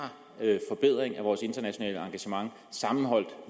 forbedring af vores internationale engagement sammenholdt